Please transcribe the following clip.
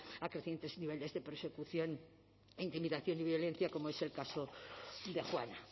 a crecientes niveles de persecución e intimidación y violencia como es el caso de juana